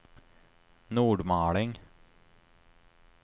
Nordmaling